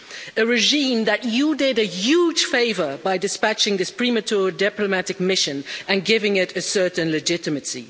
A regime that you did a huge favour by dispatching this premature diplomatic mission, and giving it a certain legitimacy.